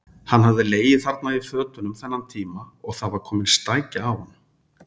Hann hafði legið þarna í fötunum þennan tíma og það var komin stækja af honum.